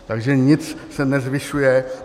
Takže nic se nezvyšuje.